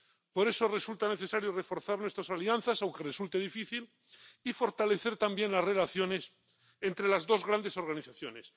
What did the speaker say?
Por eso resulta necesario reforzar nuestras alianzas, aunque resulte difícil, y fortalecer también las relaciones entre las dos grandes organizaciones.